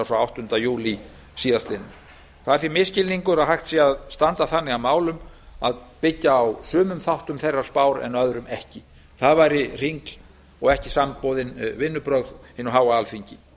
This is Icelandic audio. frá áttunda júlí síðastliðnum það er því misskilningur að hægt sé að standa þannig að málum að byggja á sumum þáttum þeirrar spár en öðrum ekki það væri hringl og ekki samboðin vinnubrögð hinu háa alþingi